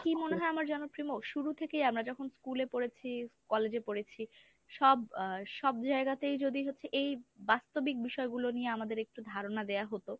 তবে কি মনে হয় আমার জানো প্রেমো শুরু থেকেই আমরা যখন school এ পড়েছি, college এ পড়েছি সব আ সব জায়গাতেই যদি হচ্ছে এই বাস্তবিক বিষয়গুলো নিয়ে আমাদের একটু ধারণা দেওয়া হতো